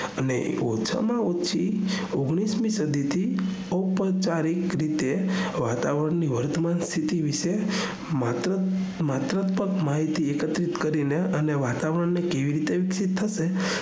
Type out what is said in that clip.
અને ઓછા માં ઓછી ઓગણીશમી સદી થી ઔપચારિક રીતે વાતાવરણ ની વર્તમાન માહતી વિષે માહિતી એકત્રિત કરીને અને વાતાવરણ ને કઈ રીતે